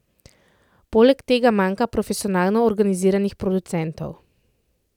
Poleg tega manjka profesionalno organiziranih producentov.